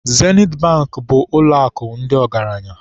Zenit Bankị bụ ụlọakụ ndị ọgaranya.